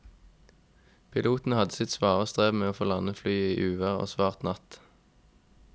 Piloten hadde sitt svare strev med å få landet flyet i uvær og svart natt.